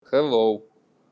хэллоу